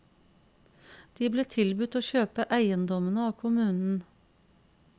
De ble tilbudt å kjøpe eiendommene av kommunen.